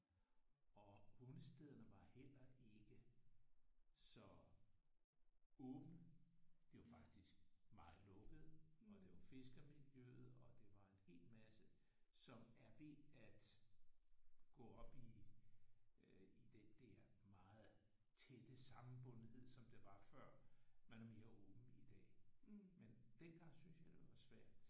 Og hundestederne var heller ikke så åbne. De var faktisk meget lukkede. Og det var fiskermiljøet og det var en hel masse som er ved at gå op i øh i den der meget tætte sammenbundenhed som det var før. Man er mere åben i dag. Men dengang syntes jeg det var svært